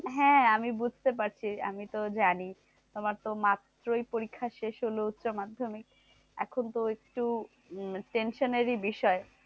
হ্যাঁ আমি বুজতে পারছি, আমি তো জানি তোমার তো মাত্রই পরীক্ষা শেষ হলো উচ্চমাধ্যমিক। এখন তো একটু উম tension এরই বিষয়।